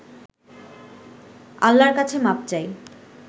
আল্লাহর কাছে মাপ চাই